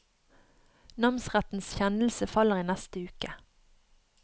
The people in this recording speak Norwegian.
Namsrettens kjennelse faller i neste uke.